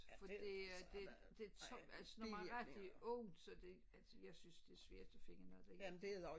For det det det tungt altså når man har rigtig ondt så det altså jeg synes det er svært at finde noget der hjælper